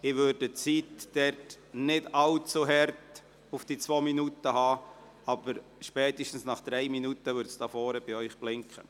Ich werde die Zeit nicht allzu streng stoppen, aber spätestens nach drei Minuten wird es bei Ihnen am Rednerpult blinken.